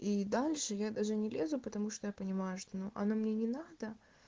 и дальше я даже не лезу потому что я понимаю что ну оно мне не надо